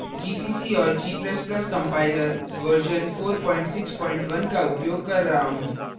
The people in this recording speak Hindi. gcc और g ++ compiler version 461 का उपयोग कर रहा हूँ